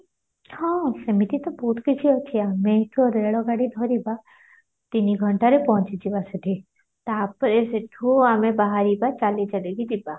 ହଁ ସେମିତିତ ବହୁତ କିଛି ଅଛି ଆମେ ଏଠୁ ରେଳ ଗାଡି ଧରିବା ତିନି ଘଣ୍ଟାରେ ପହଞ୍ଚିଯିବା ସେଠି ତାପରେ ସେଠୁ ଆମେ ବାହାରିବା ଚାଲି ଚାଲିକି ଯିବା